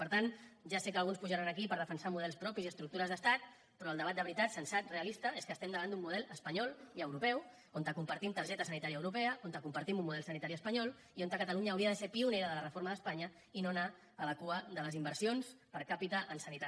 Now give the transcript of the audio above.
per tant ja sé que alguns pujaran aquí per defensar models propis i estructures d’estat però el debat de veritat sensat realista és que estem davant d’un model espanyol i europeu on compartim targeta sanitària europea on compartim un model sanitari espanyol i on catalunya hauria de ser pionera de la reforma d’espanya i no anar a la cua de les inversions per càpita en sanitat